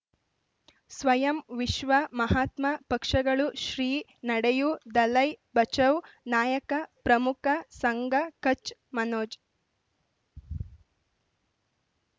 ಸ್ವಯಂ ವಿಶ್ವ ಮಹಾತ್ಮ ಪಕ್ಷಗಳು ಶ್ರೀ ನಡೆಯೂ ದಲೈ ಬಚೌ ನಾಯಕ ಪ್ರಮುಖ ಸಂಘ ಕಚ್ ಮನೋಜ್